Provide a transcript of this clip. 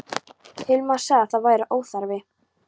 Hilmar sagði að það væri óþarfi.